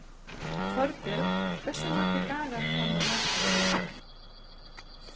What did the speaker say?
Torbjörg, hversu margir dagar fram að næsta fríi?